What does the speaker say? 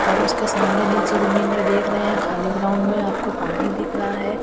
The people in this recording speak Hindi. और उसके सामने नीचे जमीन में देख रहे हैं खाली ग्राउंड में आपको पानी दिख रहा है ।